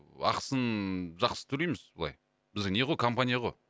ақысын жақсы төлейміз былай бізде не ғой компания ғой